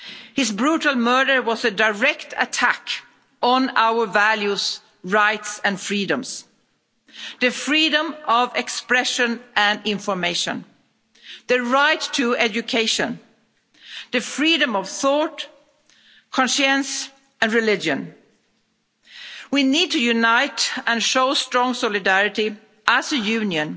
His brutal murder was a direct attack on our values, rights and freedoms the freedom of expression and information, the right to education, the freedom of thought, conscience and religion. We need to unite and show strong solidarity as a Union.